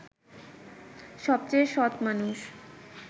সবচেয়ে সৎ মানুষ